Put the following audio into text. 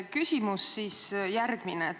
Küsimus on järgmine.